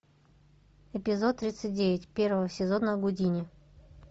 эпизод тридцать девять первого сезона гудини